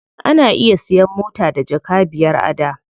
Ana iya siyan mota da jaka biyar a da.